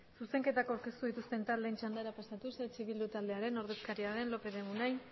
zuzenketak aurkeztu dituzten taldeen txandara pasatuz eh bildu taldearen ordezkaria den lopez de munain